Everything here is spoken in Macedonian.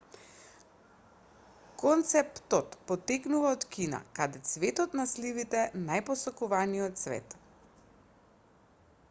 концептот потекнува од кина каде цветот на сливите најпосакуваниот цвет